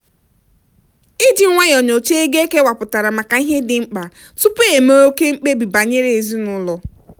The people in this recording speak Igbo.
iji nwayọọ nyocha ego ekewapụtara maka ihe dị mkpa tupu eme oke mkpebi banyere ezinụlọ.